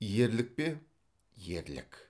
ерлік пе ерлік